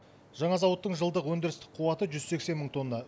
жаңа зауыттың жылдық өндірістік қуаты жүз сексен мың тонна